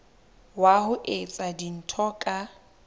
wa ho etsa dintho ka